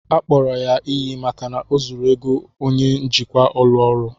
Akpọrọ ya iyi maka na o zuru ego onye njikwa ụlọ ọrụ